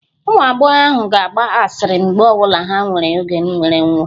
Ụmụ agbọghọ ahụ ga-agba asịrị mgbe ọ bụla ha nwere oge nnwere onwe